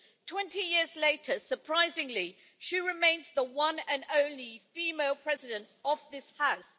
Twenty years later, surprisingly, she remains the one and only female President of this House.